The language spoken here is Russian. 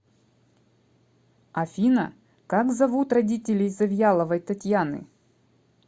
афина как зовут родителей завьяловой татьяны